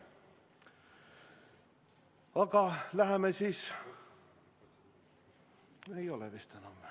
Aga läheme siis ...